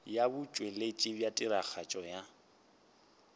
ya botšweletši bja tiragatšo ya